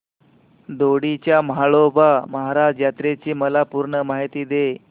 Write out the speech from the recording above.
दोडी च्या म्हाळोबा महाराज यात्रेची मला पूर्ण माहिती दे